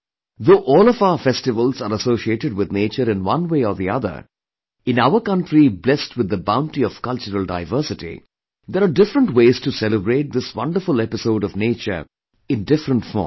Though all of our festivals are associated with nature in one way or the other, but in our country blessed with the bounty of cultural diversity, there are different ways to celebrate this wonderful episode of nature in different forms